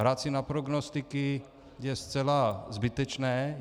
Hrát si na prognostiky je zcela zbytečné.